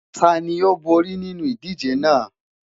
Tani o bori ninu idije naa?